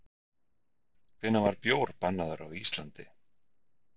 Hvenær var bjór bannaður á Íslandi?